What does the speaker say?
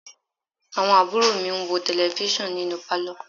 Àwọn àbúrò mi ń wo Tẹlifísàn nínú Pálọ̀